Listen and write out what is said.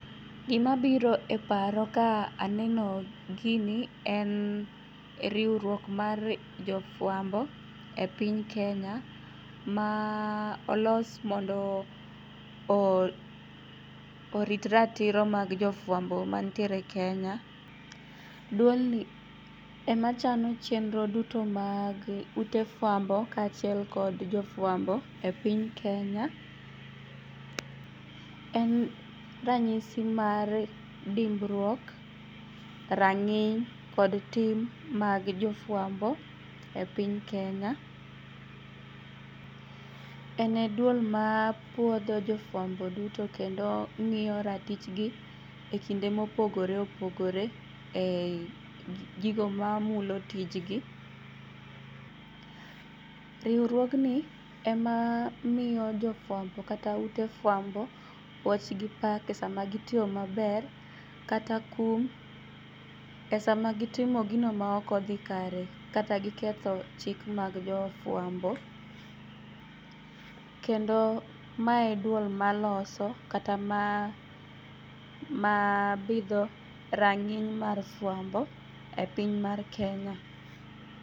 Gimabiro e paro ka aneno gini en riuruok mar jofuambo e piny Kenya ma olos mondo orit ratiro mag jofuambo mantiere Kenya. Duolni ema chano chenro duto mag ute fuambo kachiel kod jofuambo e piny Kenya. En ranyisi mar dimbruok, rang'iny kod tim mag jofuambo e piny Kenya. Ene duol mapuodho jofuambo duto kendo ng'iyo ratichgi e kinde mopogore opogore e gigo mamulo tijgi. Riuruogni ema miyo jofuambo kata ute fuambo puoch gi pak sama gitiyo maber kata kum e sama gitimo gino maokodhi kare kata kagiketho chik mag jofuambo. Kendo mae e duol maloso kata ma mabidho rang'iny mar fuambo e piny mar Kenya.